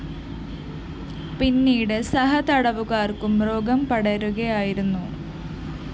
പീന്നീട് സഹതടവുകാര്‍ക്കും രോഗം പടരുകയായിരുന്നു